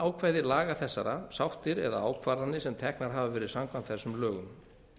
bannákvæði laga þessara sáttir eða ákvarðanir sem teknar hafa verið samkvæmt þessum lögum